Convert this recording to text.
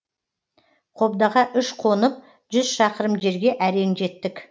қобдаға үш қонып жүз шақырым жерге әрең жеттік